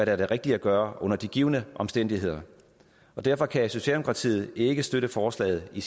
er det rigtige at gøre under de givne omstændigheder derfor kan socialdemokratiet ikke støtte forslaget i